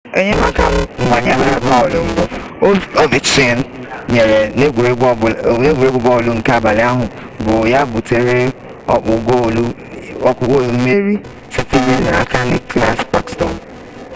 enyemaka mgbanyere bọọlụ mbụ ovechkin nyere n'egwuregwu bọọlụ nke abalị ahụ bụ ya butere ọkpụ goolu mmeri sitere n'aka nicklas backstrom